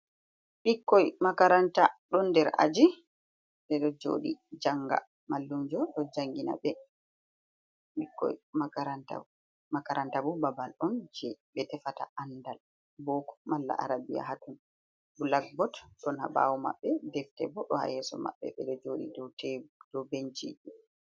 Ɓikkoi makaranta ɗon nder aji. Ɓe ɗo joɗi janga, mallunjo ɗo jangina ɓe. Ɓikkoi makaranta, makaranta bo babal on je ɓe tefata andal, boko malla arabiya haton. Blakbot ɗo ɓaawo maɓɓe, defte bo ɗo haa yeeso maɓɓe, ɓe ɗo jooɗi do tebu do benciji.